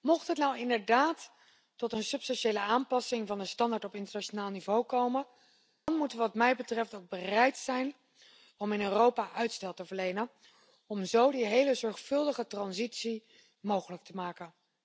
Mocht het inderdaad tot een substantiële aanpassing van de standaard op internationaal niveau komen, dan moeten we wat mij betreft ook bereid zijn om in Europa uitstel te verlenen om zo een hele zorgvuldige transitie mogelijk te maken.